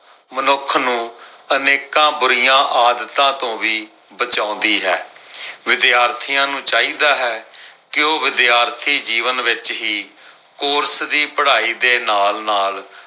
ਮਨੁੱਖ ਨੂੰ ਅਨੇਕਾਂ ਬੁਰੀਆਂ ਆਦਤਾਂ ਤੋਂ ਵੀ ਬਚਾਉਂਦੀ ਹੈ। ਵਿਦਿਆਰਥੀਆਂ ਨੂੰ ਚਾਹੀਦਾ ਹੈ ਕੇ ਉਹ ਵਿਦਿਆਰਥੀ ਜੀਵਨ ਵਿੱਚ ਹੀ ਕੋਰਸ ਦੀ ਪੜ੍ਹਾਈ ਦੇ ਨਾਲ-ਨਾਲ